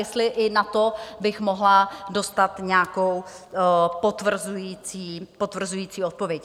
Jestli i na to bych mohla dostat nějakou potvrzující odpověď.